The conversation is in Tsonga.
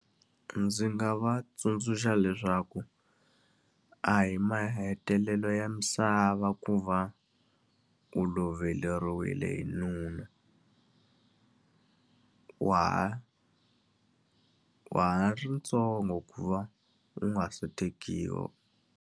Ndzi nga va tsundzuxa leswaku a hi mahetelelo ya misava ku va u loveriwile hi nuna Wa ha wa ha ri ntsongo ku va u nga se tekiwa.